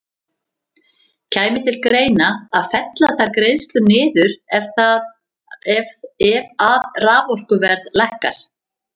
Kæmi til greina að fella þær greiðslur niður ef að raforkuverð lækkar?